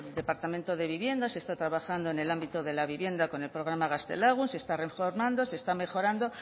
departamento de vivienda se está trabajando en el ámbito de la vivienda con el programa gaztelagun se está reformando se está mejorando